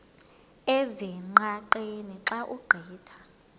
ezingqaqeni xa ugqitha